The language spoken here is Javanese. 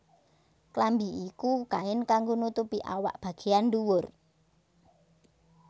Klambi iku kain kanggo nutupi awak bagéyan ndhuwur